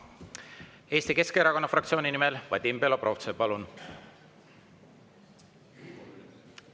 Eesti Keskerakonna fraktsiooni nimel Vadim Belobrovtsev, palun!